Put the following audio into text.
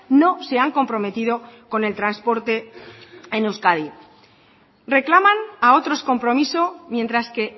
no se han comprometido con el transporte en euskadi reclaman a otros compromiso mientras que